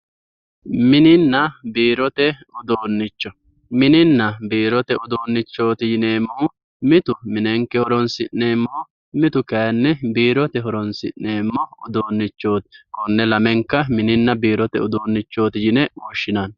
Mininna biirote uduunnicho mininna biirote uduunnicho yineemmohu mitu minenke horoonsi'neemmoho mitu kayinni biirote horoonsi'neemmoha konne lamenka mininna biirote uduunnichooti yinanni.